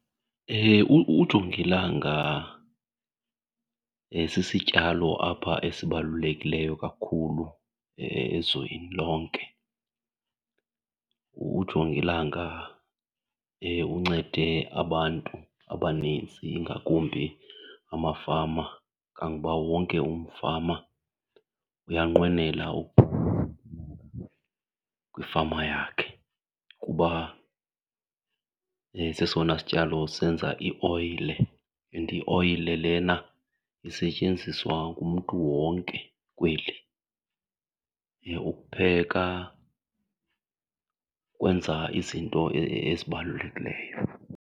Ujongilanga sisityalo apha esibalulekileyo kakhulu ezweni lonke. Ujongilanga uncede abantu abanintsi, ingakumbi amafama, kangoba wonke umfama uyanqwenela kwifama yakhe kuba sesona sityalo senza ioyile and ioyile lena isetyenziswa ngumntu wonke kweli ukupheka, ukwenza izinto ezibalulekileyo.